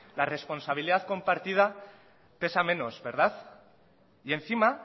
la responsabilidad compartida pesa menos verdad y encima